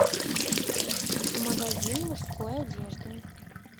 магазин мужской одежды